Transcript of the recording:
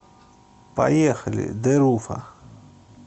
поехали дэруфа